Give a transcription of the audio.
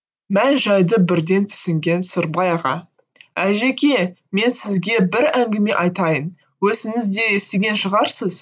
мән жайды бірден түсінген сырбай аға әлжеке мен сізге бір әңгіме айтайын өзіңіз де естіген шығарсыз